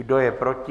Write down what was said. Kdo je proti?